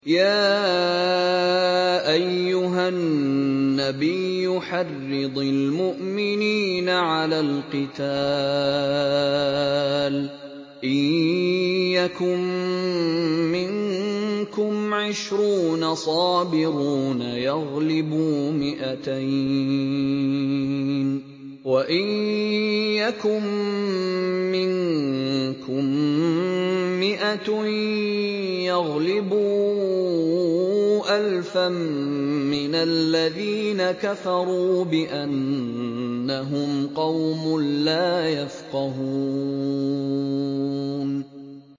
يَا أَيُّهَا النَّبِيُّ حَرِّضِ الْمُؤْمِنِينَ عَلَى الْقِتَالِ ۚ إِن يَكُن مِّنكُمْ عِشْرُونَ صَابِرُونَ يَغْلِبُوا مِائَتَيْنِ ۚ وَإِن يَكُن مِّنكُم مِّائَةٌ يَغْلِبُوا أَلْفًا مِّنَ الَّذِينَ كَفَرُوا بِأَنَّهُمْ قَوْمٌ لَّا يَفْقَهُونَ